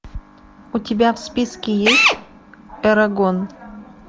у тебя в списке есть эрагон